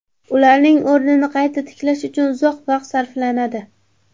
Ularning o‘rnini qayta tiklash uchun uzoq vaqt sarflanadi.